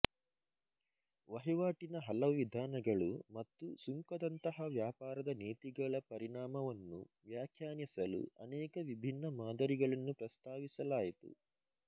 ವಹಿವಾಟಿನ ಹಲವು ವಿಧಾನಗಳು ಮತ್ತು ಸುಂಕದಂತಹ ವ್ಯಾಪಾರದ ನೀತಿಗಳ ಪರಿಣಾಮವನ್ನು ವ್ಯಾಖ್ಯಾನಿಸಲು ಅನೇಕ ವಿಭಿನ್ನ ಮಾದರಿಗಳನ್ನು ಪ್ರಸ್ತಾವಿಸಲಾಯಿತು